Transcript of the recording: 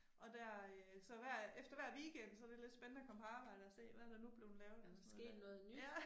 Og der øh så hver efter hver weekenden så det lidt spændende og komme på arbejde og se hvad der nu blevet lavet eller sådan noget der ja